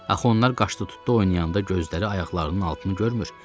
Axı onlar qaşdı-tutdu oynayanda gözləri ayaqlarının altını görmür.